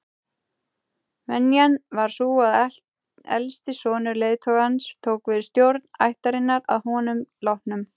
Venjan var sú að elsti sonur leiðtogans tók við stjórn ættarinnar að honum látnum.